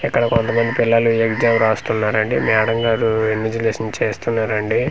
ఇక్కడ కొంతమంది పిల్లలు ఎగ్జామ్ రాస్తున్నారండి మేడం గారు ఇన్విజిలేషన్ చేస్తున్నారండి.